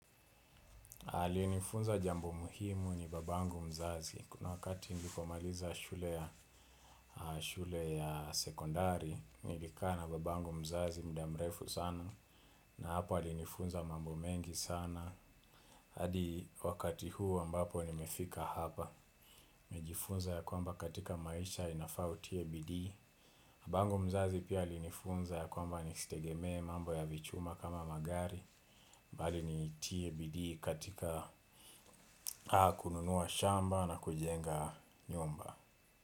Alienifunza jambo muhimu ni babangu mzazi. Kuna wakati nilipomaliza shule ya sekondari, nilikaa na babangu mzazi muda mrefu sana na hapa alinifunza mambo mengi sana. Hadi wakati huu ambapo nimefika hapa mejifunza ya kwamba katika maisha inafa utie bidii. Babangu mzazi pia alinifunza ya kwamba ni sitegemee mambo ya vichuma kama magari. Mbali ni tie bidii katika haa kununua shamba na kujenga nyumba.